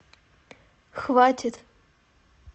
хватит